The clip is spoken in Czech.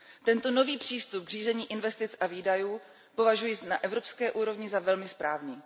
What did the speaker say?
Tento nový přístup k řízení investic a výdajů považuji na evropské úrovni za velmi správný.